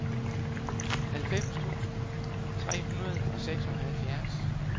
halvfems tusind tre hundrede og seksoghalvtreds